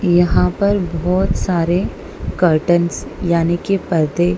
यहां पर बहोत सारे कर्टन्स यानी कि पर्दे--